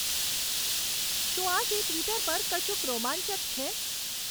શું આજે ટ્વિટર પર કશુંક રોમાંચક છે